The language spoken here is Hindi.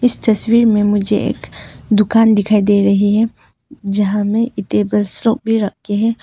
इस तस्वीर में मुझे एक दुकान दिखाई दे रही है जहां में रखे हैं।